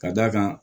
Ka d'a kan